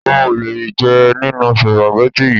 O ò lè jẹ nínú sùpàgẹ́tì è yí!